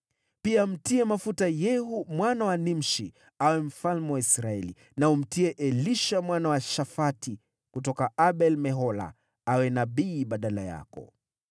Pia mtie mafuta Yehu mwana wa Nimshi awe mfalme wa Israeli, na umtie Elisha mwana wa Shafati kutoka Abel-Mehola mafuta awe nabii badala yako.